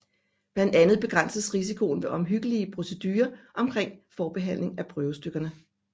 Blandt andet begrænses risikoen ved omhyggelige procedurer omkring forbehandling af prøvestykkerne